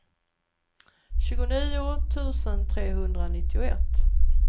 tjugonio tusen trehundranittioett